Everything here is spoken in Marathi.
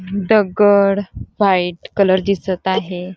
दगड व्हाईट कलर दिसत आहे.